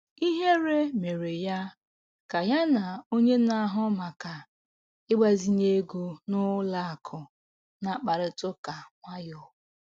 Ihere mere ya ka ya na onye na-ahụ maka ịgbazinye ego n'ụlọ akụ na-akparịta ụka nwayọọ.